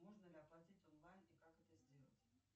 можно ли оплатить онлайн и как это сделать